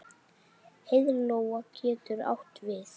Heiðlóa getur átt við